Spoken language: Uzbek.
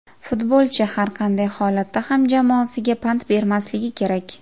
Futbolchi har qanday holatda ham jamoasiga pand bermasligi kerak.